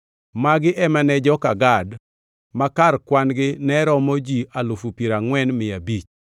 Magi ema ne joka Gad; ma kar kwan-gi ne romo ji alufu piero angʼwen mia abich (40,500).